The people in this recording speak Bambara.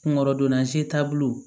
Kungolo donna se taabolo